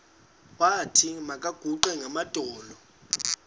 wathi makaguqe ngamadolo